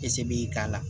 Ese b'i k'a la